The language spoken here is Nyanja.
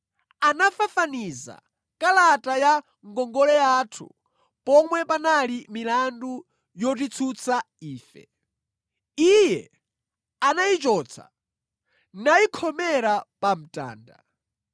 Anafafaniza kalata ya ngongole yathu, pomwe panali milandu yotitsutsa ife. Iye anayichotsa, nayikhomera pa mtanda.